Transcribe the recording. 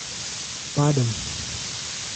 Padem ...